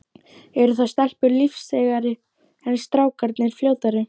Eru þá stelpurnar lífseigari, en strákarnir fljótari?